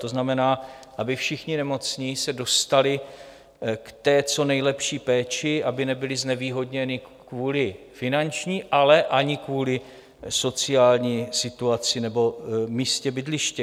To znamená, aby všichni nemocní se dostali k té co nejlepší péči, aby nebyli znevýhodněni kvůli finanční, ale ani kvůli sociální situaci nebo místu bydliště.